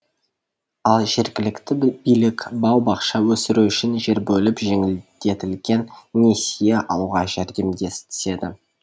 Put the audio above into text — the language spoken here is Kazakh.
ал жергілікті билік бау бақша өсіру үшін жер бөліп жеңілдетілген несие алуға жәрдемдеседі